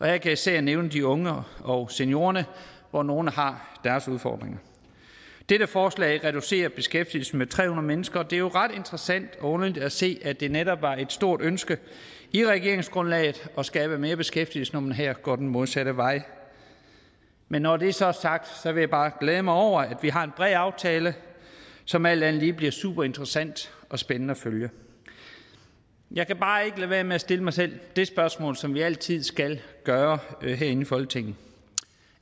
jeg især nævne de unge og seniorerne hvor nogle har deres udfordringer dette forslag reducerer beskæftigelsen med tre hundrede mennesker og det er jo ret interessant og underligt at se at det netop meget stort ønske i regeringsgrundlaget at skabe mere beskæftigelse når man her går den modsatte vej men når det så er sagt vil jeg bare glæde mig over at vi har en bred aftale som alt andet lige bliver super interessant og spændende at følge jeg kan bare ikke lade være med at stille mig selv det spørgsmål som vi altid skal gøre herinde i folketinget